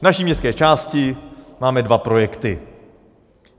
V naší městské části máme dva projekty.